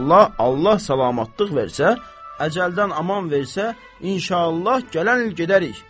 Allah, Allah salamlıq versə, əcəldən aman versə, inşallah gələn il gedərik.